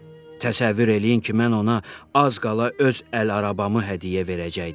Təsəvvür eləyin ki, mən ona az qala öz əl arabamı hədiyyə verəcəkdim.